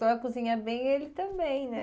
Só cozinha bem ele também, né?